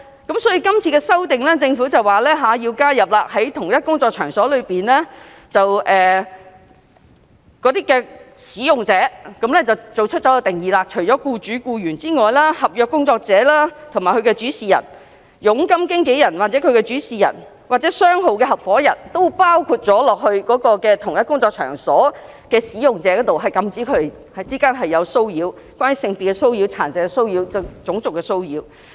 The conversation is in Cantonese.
因此，政府表示要修訂在同一工作場所中"使用者"的定義，除僱主和僱員外，合約工作者或其主事人、佣金經紀人或其主事人，或商號合夥人均包括在同一工作場所中的"使用者"，禁止他們之間作出有關性別、殘疾和種族歧視的騷擾。